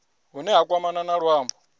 hune ha kwamana na luambo